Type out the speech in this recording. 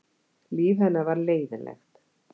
Líf hennar var leiðinlegt.